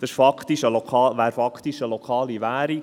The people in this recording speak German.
dies wäre faktisch eine lokale Währung.